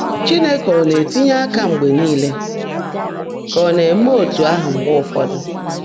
Chineke ọ na-etinye aka mgbe niile ka o na-eme etu ahụ mgbe ụfọdụ?